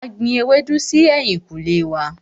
A gbin ewédú si ẹ̀yìnkùlé wá.